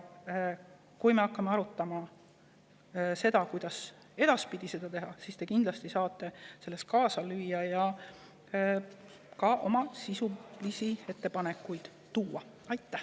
Kui me hakkame arutama, kuidas edaspidi teha, siis te saate kindlasti selles kaasa lüüa ja ka oma sisulisi ettepanekuid teha.